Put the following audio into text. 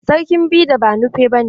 Sarkin bida banufe ne.